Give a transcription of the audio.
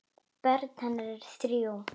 Börn hennar eru þrjú.